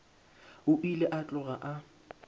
o ile a tloga a